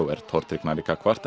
er tortryggnari gagnvart en